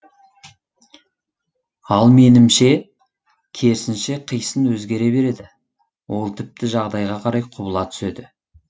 ал менімше керсінше қисын өзгере береді ол тіпті жағдайға қарай құбыла түседі